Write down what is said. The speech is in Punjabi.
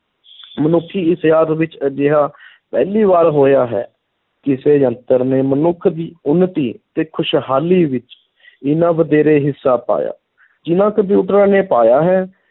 ਮਨੁੱਖੀ ਇਤਿਹਾਸ ਵਿੱਚ ਅਜਿਹਾ ਪਹਿਲੀ ਵਾਰ ਹੋਇਆ ਹੈ ਕਿਸੇ ਯੰਤਰ ਨੇ ਮਨੁੱਖ ਦੀ ਉੱਨਤੀ ਤੇ ਖ਼ੁਸ਼ਹਾਲੀ ਵਿੱਚ ਇੰਨਾ ਵਧੇਰੇ ਹਿੱਸਾ ਪਾਇਆ, ਜਿੰਨਾਂ ਕੰਪਿਊਟਰਾਂ ਨੇ ਪਾਇਆ ਹੈ,